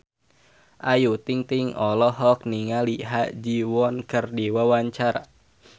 Ayu Ting-ting olohok ningali Ha Ji Won keur diwawancara